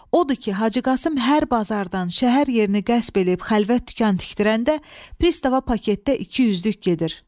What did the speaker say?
Odur ki, Hacı Qasım hər bazardan şəhər yerini qəsb edib xəlvət dükan tikdirəndə, Pristava paketdə 200-lük gedir.